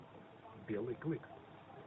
белый клык